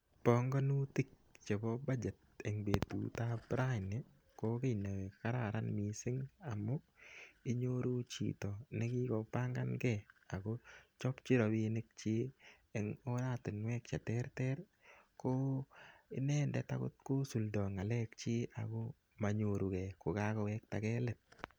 Bongonutik chebo budget en betut ab raini ko ki ne kararan mising amun inyoru chito nekigobangange ago chobchin rabinik chik en oratinwek che terter ko inendet agot ko suldo ng'alek chik ago manyoruge ko kagowektage let.